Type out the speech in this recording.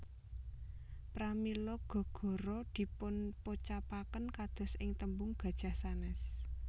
Pramila Ga gora dipunpocapaken kados ing tembung gajah sanès